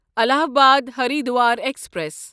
Allahabad Haridwar express